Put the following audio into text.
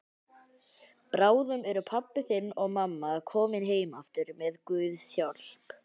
Bráðum eru pabbi þinn og mamma komin heim aftur með Guðs hjálp.